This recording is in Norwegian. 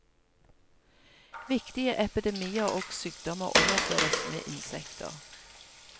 Viktige epidemier og sykdommer overføres med insekter.